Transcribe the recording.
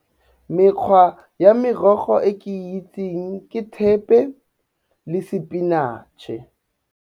Mekgwa ya merogo e ke itseng ke thepe le sepinatšhe.